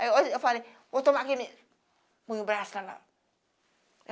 Aí eu falei, vou tomar remédio punha o braço